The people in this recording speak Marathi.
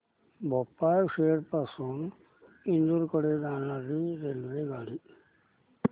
भोपाळ शहर पासून इंदूर कडे जाणारी रेल्वेगाडी